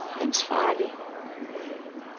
ansvarlig